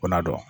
Ko n'a dɔn